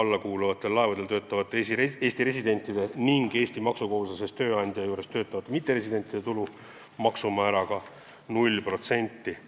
alla kuuluvatel laevadel töötavate Eesti residentide ning Eesti maksukohustuslasest tööandja juures töötavate mitteresidentide tulu maksumääraga 0%.